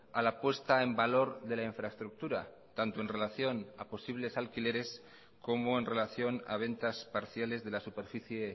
a la puesta en valor de la infraestructura tanto en relación a posibles alquileres como en relación a ventas parciales de la superficie